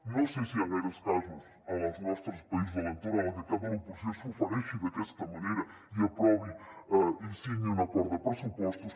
no sé si hi han gaires casos als nostres països de l’entorn en què el cap de l’oposició s’ofereixi d’aquesta manera i aprovi i signi un acord de pressupostos